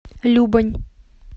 любань